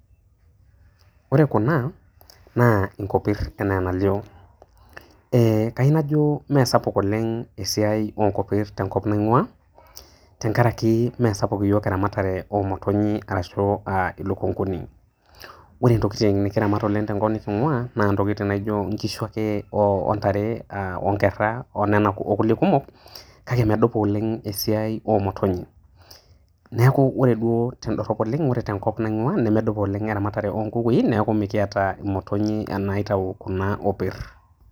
Ore kunaa naa inkopirr enaa enalio, ee kainajo meesapuk oleng' esiai onkopirr tenkop naing'uaa tengaraki meesapuk iyiok eramatare omotonyii arashu aa ilukunguni. Ore ntokitin nikiramat oleng' tenkop neking'uaa naa ntokitin naijo nkishu ake o ntare aa onkerra onena okulie kumok, kake medupa oleng' esiai oomotonyi. Neaku ore duo tendorrop oleng' ore tenkop naing'uaa nemedupa oleng' eramatare onkukui neaku mikiata imotonyi naitau kuna opirr.